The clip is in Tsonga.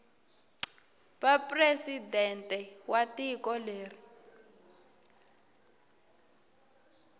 va presidente wa tiko leri